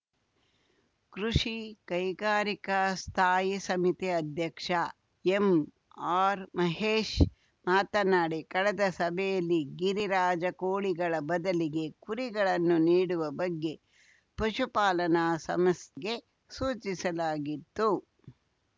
ಕೃಷಿಕೈಗಾರಿಕಾ ಸ್ಥಾಯಿ ಸಮಿತಿ ಅಧ್ಯಕ್ಷ ಎಂಆರ್‌ಮಹೇಶ್‌ ಮಾತನಾಡಿ ಕಳೆದ ಸಭೆಯಲ್ಲಿ ಗಿರಿರಾಜ ಕೋಳಿಗಳ ಬದಲಿಗೆ ಕುರಿಗಳನ್ನು ನೀಡುವ ಬಗ್ಗೆ ಪಶುಪಾಲನಾ ಸಮಸ್ ಗೆ ಸೂಚಿಸಲಾಗಿತ್ತು